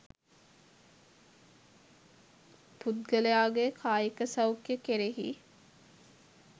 පුද්ගලයාගේ කායික සෞඛ්‍යය කෙරෙහි